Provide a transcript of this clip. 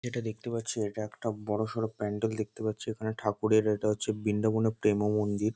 এটা দেখতে পাচ্ছি এটা একটা বড় সড়ো প্যান্ডেল দেখতে পাচ্ছি এখানে ঠাকুরের এটা হচ্ছে বৃন্দাবনের প্রেম ও মন্দির।